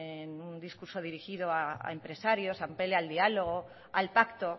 en un discurso dirigido a empresarios apele al diálogo al pacto